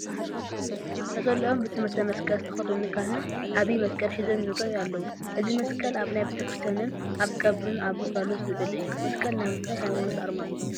ነፀልኦም ብትእምርተ መስቀል ዝተኸደኑ ካህን ዓብዪ መስቀል ሒዞም ይርአዩ ኣለዉ፡፡ እዚ መስቀል ኣብ ናይ ቤተ ክርስቲያንን ኣብ ቀብርን ኣብ ግልጋሎት ዝውዕል እዩ፡፡ መስቀል ናይ ምንታይ ሃይማኖት ኣርማ እዩ?